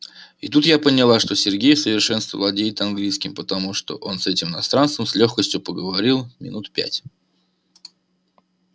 и тут я поняла что сергей в совершенстве владеет английским потому что он с этим иностранцем с лёгкостью проговорил минут пять